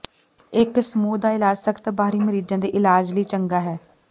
ਇਕ ਸਮੂਹ ਦਾ ਇਲਾਜ ਸਖਤ ਬਾਹਰੀ ਮਰੀਜ਼ਾਂ ਦੇ ਇਲਾਜ ਲਈ ਚੰਗਾ ਹੈ